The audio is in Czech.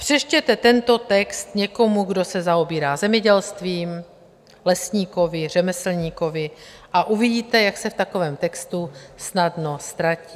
Přečtěte tento text někomu, kdo se zaobírá zemědělstvím, lesníkovi, řemeslníkovi, a uvidíte, jak se v takovém textu snadno ztratí.